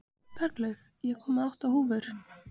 Berglaug, ég kom með átta húfur!